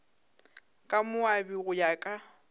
ka moabi go ya ka